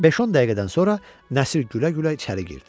Beş-on dəqiqədən sonra Nəsir gülə-gülə içəri girdi.